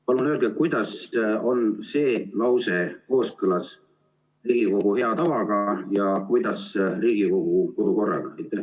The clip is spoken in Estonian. Palun öelge, kuidas on see lause kooskõlas Riigikogu hea tavaga ja Riigikogu kodukorraga?